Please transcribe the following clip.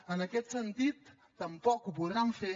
en aquest sentit tampoc ho podran fer